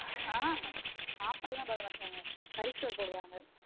ஆஹ் சாப்பாடு எல்லான் போட மாட்டாங்க கறி சோறு போடுவாங்க